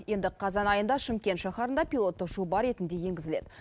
енді қазан айында шымкент шаһарында пилоттық жоба ретінде енгізіледі